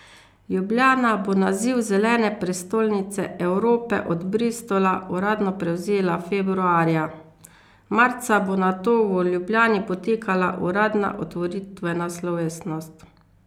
Ljubljana bo naziv Zelene prestolnice Evrope od Bristola uradno prevzela februarja, marca bo nato v Ljubljani potekala uradna otvoritvena slovesnost.